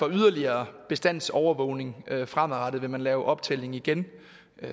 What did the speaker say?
yderligere bestandsovervågning fremadrettet vil man lave en optælling igen